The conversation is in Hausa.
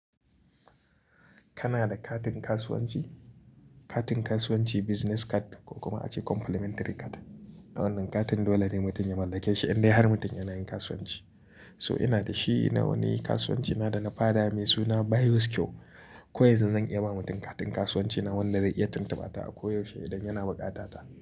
Kana da katin kasuwanci? Katin kasuwanci business card ko kuma ace complimentary card. Wannan katin dole ne mutum ya mallake shi idan dai har mutum yana yin kasuwanci. So ina da shi na wani kasuwanci na da na faɗa mai suna Bios cure. Koyaushe zan iya ba mutum katin kasuwanci na wanda zai iya tuntuba ta a koyaushe idan yana buƙata ta.